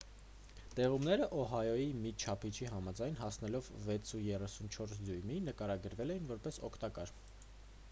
տեղումները օահոյի մի չափիչի համաձայն հասնելով 6,34 դյույմի նկարագրվել էին որպես օգտակար